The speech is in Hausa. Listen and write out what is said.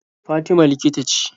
Fatima likita ce.